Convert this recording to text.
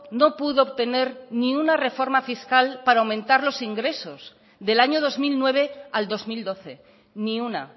no pudo obtener ni una reforma fiscal para aumentar los ingresos del año dos mil nueve al dos mil doce ni una